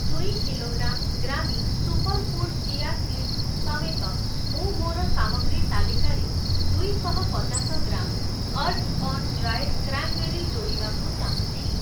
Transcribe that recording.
ଦୁଇ କିଲୋଗ୍ରାମ୍ ଗ୍ରାମି superfood chia seeds ସମେତ ମୁଁ ମୋର ସାମଗ୍ରୀ ତାଲିକାରେ ଦୁଇଶହପଚାଶ ଗ୍ରାମ୍ ଅର୍ଥ୍‌ଅନ୍‌ ଡ୍ରାଏଡ଼୍‌ କ୍ରାନ୍‌ବେରୀ ଯୋଡ଼ିବାକୁ ଚାହୁଁଛି ।